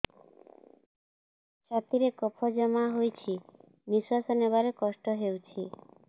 ଛାତିରେ କଫ ଜମା ହୋଇଛି ନିଶ୍ୱାସ ନେବାରେ କଷ୍ଟ ହେଉଛି